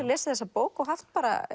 lesið þessa bók og haft